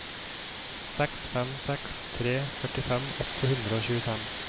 seks fem seks tre førtifem åtte hundre og tjuefem